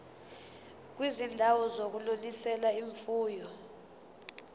kwizindawo zokunonisela imfuyo